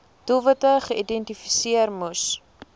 doelwitte geïdentifiseer moes